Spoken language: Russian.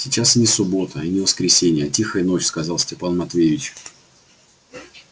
сейчас и не суббота и не воскресенье а тихая ночь сказал степан матвеевич